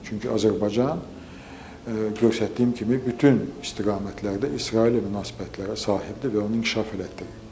Çünki Azərbaycan, göstərdiyim kimi, bütün istiqamətlərdə İsraillə münasibətlərə sahibdir və onu inkişaf elətdirir.